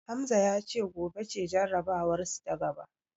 Hamza ya ce gobe ce jarabawarsu ta gaba.